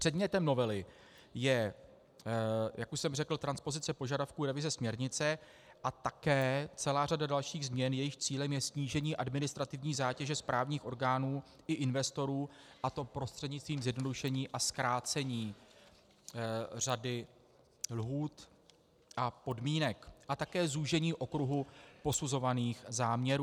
Předmětem novely je, jak už jsem řekl, transpozice požadavků revize směrnice a také celá řada dalších změn, jejichž cílem je snížení administrativní zátěže správních orgánů i investorů, a to prostřednictvím zjednodušení a zkrácení řady lhůt a podmínek a také zúžení okruhu posuzovaných záměrů.